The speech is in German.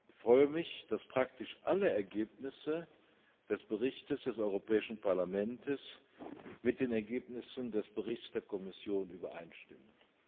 Ich freue mich, dass praktisch alle Ergebnisse des Berichts des Europäischen Parlaments mit den Ergebnissen des Berichts der Kommission übereinstimmen.